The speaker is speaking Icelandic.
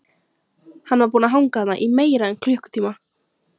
Hann var búinn að hanga þarna í meira en klukkutíma.